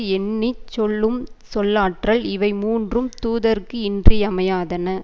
எண்ணி சொல்லும் சொல்லாற்றல் இவை மூன்றும் தூதர்க்கு இன்றியமையாதன